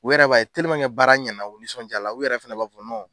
U yɛrɛ b'a baara ɲɛna o bɛ nisɔndiy'a la u yɛrɛ fana b'a fɔ